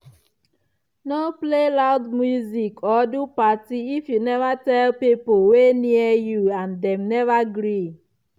no play loud music or do party if you never tell pipo wey near you and dem never gree.